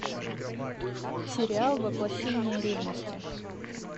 сериал воплощение ревности